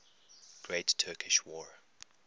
great turkish war